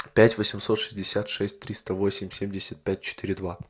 пять восемьсот шестьдесят шесть триста восемь семьдесят пять четыре два